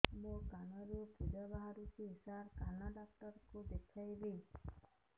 ମୋ କାନରୁ ପୁଜ ବାହାରୁଛି ସାର କାନ ଡକ୍ଟର କୁ ଦେଖାଇବି